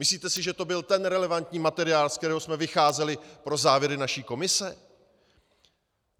Myslíte si, že to byl ten relevantní materiál, z kterého jsme vycházeli pro závěry naší komise?